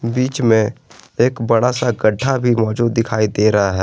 बीच में एक बड़ा सा गड्ढा भी मौजूद दिखाई दे रहा है।